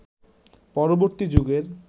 পরবর্তী যুগের